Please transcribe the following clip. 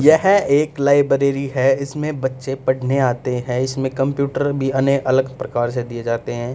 यह एक लाइब्रेरी है इसमें बच्चे पढ़ने आते हैं इसमें कंप्यूटर भी अने अलग प्रकार से दिए जाते हैं।